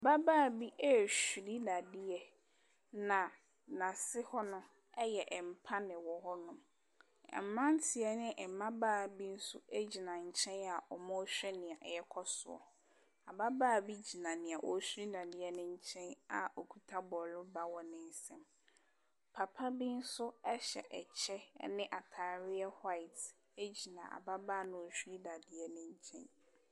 Ababaa bi ɛɛhuri dadeɛ na nase ho no, ɛyɛ mpa na ɛwɔ hɔ nom. Mmranteɛ ɛne mmabaa bi nso ɛgyina nkyɛn a ɔmo ɛhwɛ nea ɛɛkɔ soɔ. Ababaa bi gyina deɛ ɔɔhuri dadeɛ no nkyɛn a ɔkuta bɔɔroba wɔ ne nsam. Papabi nso ɛhyɛ ɛkyɛ ɛne ataadeɛ hwaet ɛgyina ababaa na ɔɔhuri dadeɛ no nkyɛn.